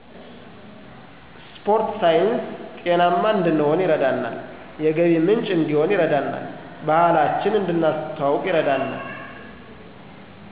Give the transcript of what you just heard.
ስፖርት ሳይንስ' ጤናማ እንድንሁን ይረዳናል፣ የገቢ ምንጭ እዲሆን ይረዳናል፣ ባህላችን እድነስተዋወቅ ይርዳናል።